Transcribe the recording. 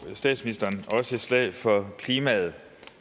slog statsministeren også et slag for klimaet